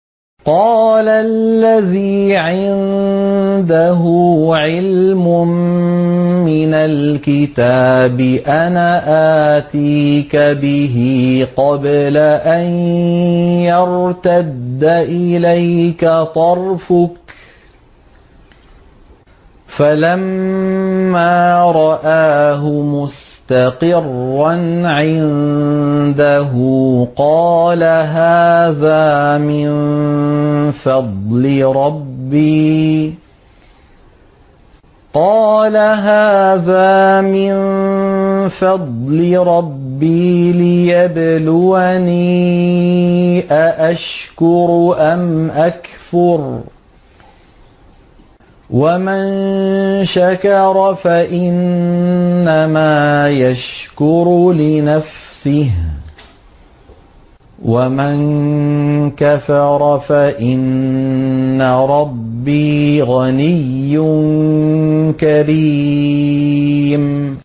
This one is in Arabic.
قَالَ الَّذِي عِندَهُ عِلْمٌ مِّنَ الْكِتَابِ أَنَا آتِيكَ بِهِ قَبْلَ أَن يَرْتَدَّ إِلَيْكَ طَرْفُكَ ۚ فَلَمَّا رَآهُ مُسْتَقِرًّا عِندَهُ قَالَ هَٰذَا مِن فَضْلِ رَبِّي لِيَبْلُوَنِي أَأَشْكُرُ أَمْ أَكْفُرُ ۖ وَمَن شَكَرَ فَإِنَّمَا يَشْكُرُ لِنَفْسِهِ ۖ وَمَن كَفَرَ فَإِنَّ رَبِّي غَنِيٌّ كَرِيمٌ